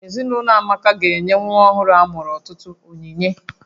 Ezinaụlọ Amaka ga-enye nwa ọhụrụ amụrụ ọtụtụ onyinye